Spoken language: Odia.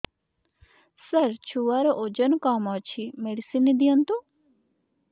ସାର ଛୁଆର ଓଜନ କମ ଅଛି ମେଡିସିନ ଦିଅନ୍ତୁ